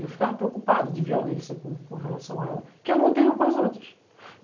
Eu ficava preocupada de violência com com relação a ela, que eu não tenho com as outras.